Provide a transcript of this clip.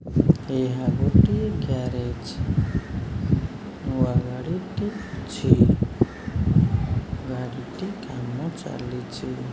ଏହା ଗୋଟିଏ ଗ୍ୟାରେଜ ନୂଆ ଗାଡ଼ିଟେ ଅଛି ଗାଡ଼ିଟି କାମ ଚାଲିଚି।